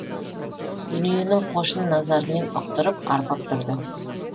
дүниенің қошын назарымен ұқтырып арбап тұрды